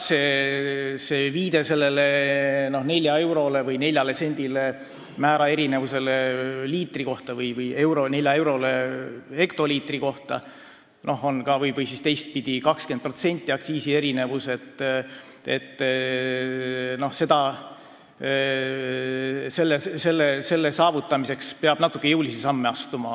Viide neljasendisele erinevusele liitri kohta või neljale eurole hektoliitri kohta, teistpidi 20%-sele aktsiisierinevusele – selle vähendamiseks peab natuke jõulisemaid samme astuma.